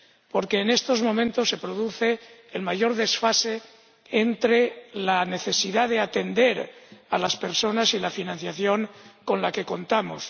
Porque en estos momentos se produce el mayor desfase entre la necesidad de atender a las personas y la financiación con la que contamos